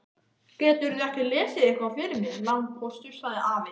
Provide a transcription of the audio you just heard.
Geturðu ekki lesið eitthvað fyrir mig, landpóstur, sagði afi.